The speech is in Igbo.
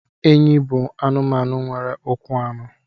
Enyí bụ anụmanụ nwere ụkwụ anọ